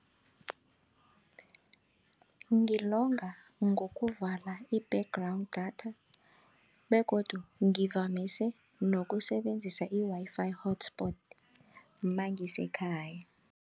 Ngilonga ngokuvalela i-background data begodu ngivamise nokusebenzisa i-Wi-Fi hotspot mangisekhaya.